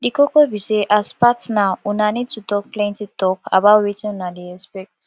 di koko be sey as partner una need to talk plenty talk about wetin una dey expect